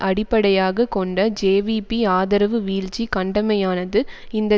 அடிப்படையாக கொண்ட ஜேவிபி ஆதரவு வீழ்ச்சி கண்டமையானது இந்த